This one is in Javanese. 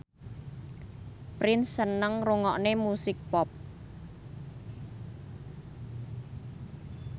Prince seneng ngrungokne musik pop